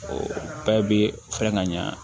O bɛɛ bɛ fɛɛrɛ ka ɲɛ